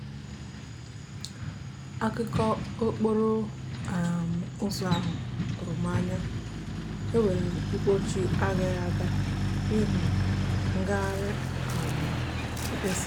akụkọ okporo um ụzọ ahụ tụrụ m anya—e nwere mkpọchị agaghị aga n'ihi ngagharị um mkpesa.